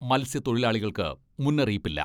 മൽസ്യത്തൊഴിലാളികൾക്ക് മുന്നറിയിപ്പില്ല.